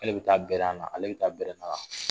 K'ale bɛ taa grɛn na, ale bɛ taa grɛn na wa